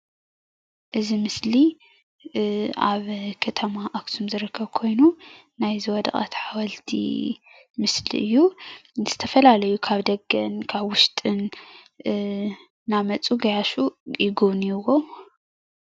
እዚ ምስሊ ኣብ ከተማ ኣክሱም ዝርከብ ኮይኑ ናይ ዝወደቀት ሓወልቲ ምስሊ እዩ፡፡ ዝተፈላለዩ ካብ ደገን ካብ ውሽጥን እንዳመፁ ገያሹ ይግብንይዎ፡፡